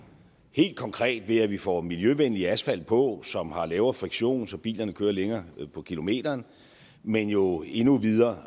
helt konkret ved at vi får miljøvenlig asfalt på som har lavere friktion så bilerne kører længere på literen men jo endnu videre